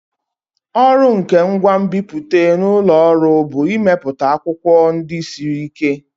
Ọrụ nke ngwa nbipute n'ụlọ ọrụ bụ imepụta akwụkwọ ndị siri ike.